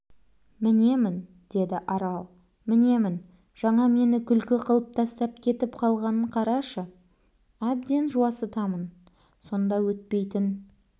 мінемін деді арал мінемін жаңа мені күлкі қылып тастап кетіп қалғанын қарашы әбден жуасытамын сонда өйтпейтін